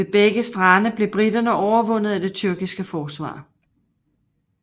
Ved begge strande blev briterne overvundet af det tyrkiske forsvar